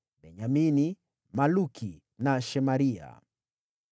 Benyamini, Maluki, na Shemaria.